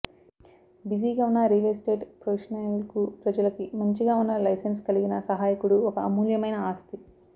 బిజీగా ఉన్న real estate ప్రొఫెషినల్కు ప్రజలకి మంచిగా ఉన్న లైసెన్స్ కలిగిన సహాయకుడు ఒక అమూల్యమైన ఆస్తి